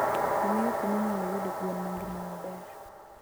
Angeyo kuminyaloyude gwen mangima maber.